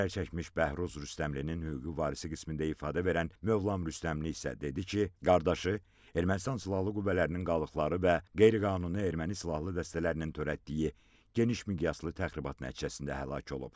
Zərərçəkmiş Bəhruz Rüstəmovun hüquqi varisi qismində ifadə verən Mövlam Rüstəmli isə dedi ki, qardaşı Ermənistan silahlı qüvvələrinin qalıqları və qeyri-qanuni erməni silahlı dəstələrinin törətdiyi geniş miqyaslı təxribat nəticəsində həlak olub.